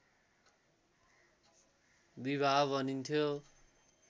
विवाह भनिन्थ्यो